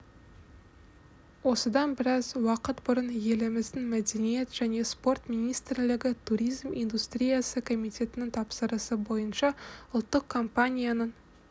осыдан біраз уақыт бұрын еліміздің мәдениет және спорт министрлігі туризм индустриясы комитетінің тапсырысы бойынша ұлттық компаниясының